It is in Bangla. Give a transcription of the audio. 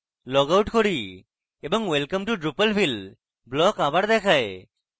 লগআউট করি এবং welcome to drupalville block আবার দেখায়